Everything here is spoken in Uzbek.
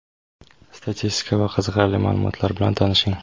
statistika va qiziqarli ma’lumotlar bilan tanishing;.